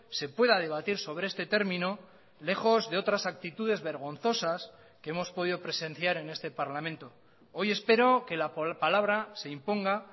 se pueda debatir sobre este término lejos de otras actitudes vergonzosas que hemos podido presenciar en este parlamento hoy espero que la palabra se imponga